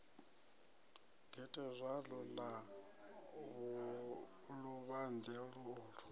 gethe zwalo ḽa luvhanḓe ulu